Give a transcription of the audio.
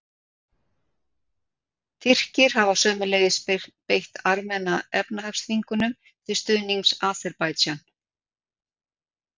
Tyrkir hafa sömuleiðis beitt Armena efnahagsþvingunum til stuðnings Aserbaídsjan.